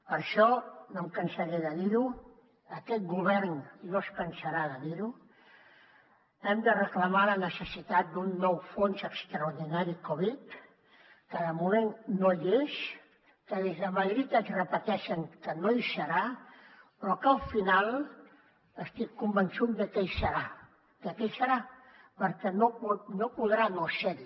per això no em cansaré de dir ho aquest govern no es cansarà de dir ho hem de reclamar la necessitat d’un nou fons extraordinari covid que de moment no hi és que des de madrid ens repeteixen que no hi serà però que al final estic convençut de que hi serà de que hi serà perquè no podrà no ser hi